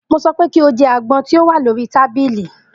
Mo sọ pé kí o jẹ àgbọn tí o wà lórí tábìlì!